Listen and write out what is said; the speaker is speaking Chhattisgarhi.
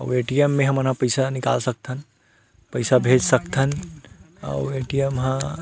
आऊ ए_टी_एम हमन ह पइसा निकाल सकथन पइसा भेज सकथन आउर ए_टी_एम ह--